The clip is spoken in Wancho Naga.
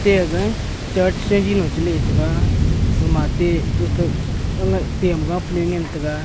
e ga church ji long che le tega ga ma te tem ga panung le ngan tega.